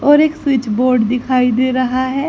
और एक switch board दिखाई दे रहा हैं।